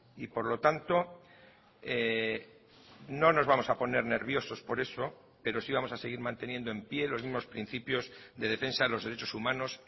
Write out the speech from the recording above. y por lo tanto no nos vamos a poner nerviosos por eso pero sí vamos a seguir manteniendo en pie los mismos principios de defensa de los derechos humanos